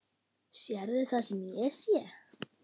Sérðu það sem ég sé?